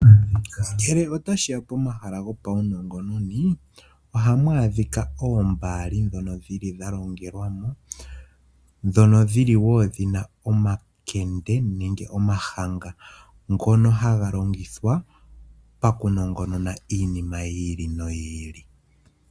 Ngele otashiya pomahala gopawunongononi ohamu adhika oombaali dhono dhili dhalongelwamo dhono dhili wo dhina omakende nenge omahanga ngono hagalongithwa pakunongonona iinima yi ili noyi ili.